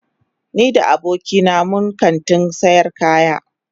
Ni da abokina mun kantin sayar kaya.